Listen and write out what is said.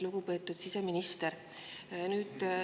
Lugupeetud siseminister!